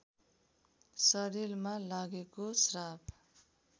शरीरमा लागेको श्राप